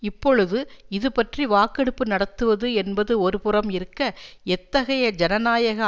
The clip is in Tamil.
இப்பொழுது இதுபற்றி வாக்கெடுப்பு நடத்துவது என்பது ஒருபுறம் இருக்க எத்தகைய ஜனநாயக